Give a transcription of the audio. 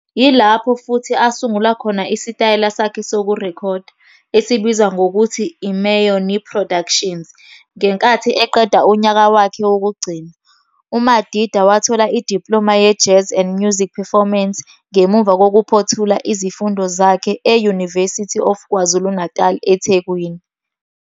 Yilapho futhi asungula khona isitayela sakhe sokurekhoda - esibizwa ngokuthi i-Mayonie Productions - ngenkathi eqeda unyaka wakhe wokugcina. UMadida wathola i-diploma ye-Jazz and Music Performance ngemuva kokuphothula izifundo zakhe e-University of KwaZulu-Natal eThekwini.